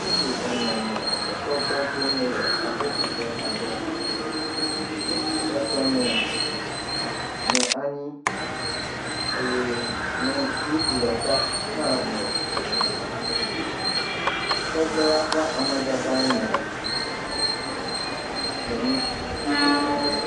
Ŋutsu ene nɔ esɔgbe dom le aboƒoƒe aɖe. Ŋutsu etɔ̃ nɔ, nɔ anyi eye nyɔ, ŋutsu ɖeka hã nɔ tsitre. Sɔgbela ƒe amadada nɔ gbemu, tso ede xo.